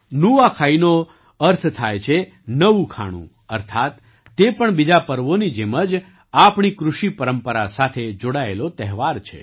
નુઆખાઈનો અર્થ થાય છે નવું ખાણું અર્થાત્ તે પણ બીજા પર્વોની જેમ જ આપણી કૃષિ પરંપરા સાથે જોડાયેલો તહેવાર છે